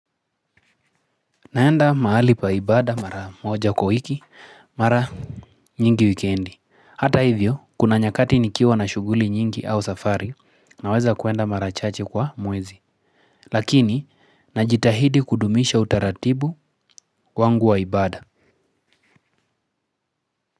Naenda mahali pa ibada mara moja kwa wiki mara nyingi wikendi. Hata hivyo, kuna nyakati nikiwa na shughuli nyingi au safari naweza kwenda mara chache kwa mwezi. Lakini, najitahidi kudumisha utaratibu wangu wa ibada.